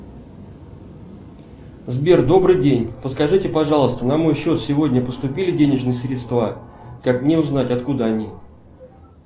сбер добрый день подскажите пожалуйста на мой счет сегодня поступили денежные средства как мне узнать откуда они